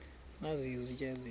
nazi izitya ezihle